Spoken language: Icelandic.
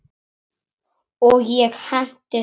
Og ég hentist af stað.